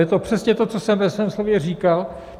Je to přesně to, co jsem ve svém slově říkal.